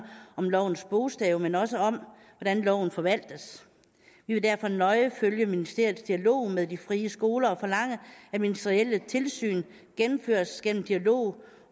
om lovens bogstav men også om hvordan loven forvaltes vi vil derfor nøje følge ministeriets dialog med de frie skoler og forlange at ministerielle tilsyn gennemføres gennem dialog